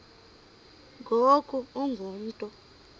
ngoku ungu mntu